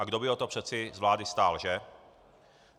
A kdo by o to přece z vlády stál, že?